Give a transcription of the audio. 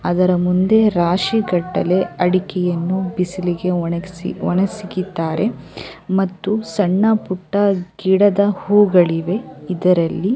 ಅದರ ಮುಂದೆ ರಾಶಿಗಟ್ಟಲೆ ಅಡಿಕೆಯನ್ನು ಬಿಸಿಲಿಗೆ ಒಣಗಿಸಿದ್ದಾರೆ ಒಣಸಿಗಿದ್ದಾರೆ ಮತ್ತು ಸಣ್ಣ ಪುಟ್ಟ ಗಿಡದ ಹೂಗಳಿವೆ ಇದರಲ್ಲಿ --